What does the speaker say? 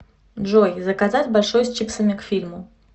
джой заказать большой с чипсами к фильму